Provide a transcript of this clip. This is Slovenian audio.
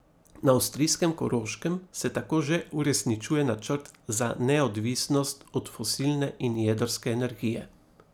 Na avstrijskem Koroškem se tako že uresničuje načrt za neodvisnost od fosilne in jedrske energije.